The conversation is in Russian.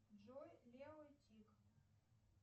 джой лео и тиг